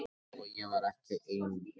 Og ég var ekki ein um það.